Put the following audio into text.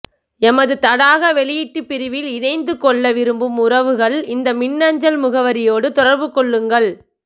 எமது தடாகம் வெளியீட்டுப் பிரிவில் இணைந்து கொள்ள விரும்பும்உறவுகள் இந்த மின்னஞ்சல் முகவரியோடு தொடர்பு கொள்ளுங்கள்